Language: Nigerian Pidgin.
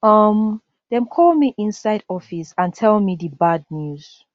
um dem call me inside office and tell me di bad news